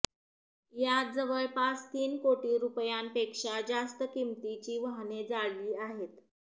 यात जवळपास तीन कोटी रुपयांपेक्षा जास्त किंमतीची वाहने जाळली आहे